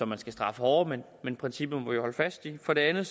man skal straffe hårdere men princippet må vi holde fast i for det andet